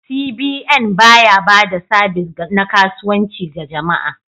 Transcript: CBN ba ya ba da sabis na kasuwanci ga jama'a.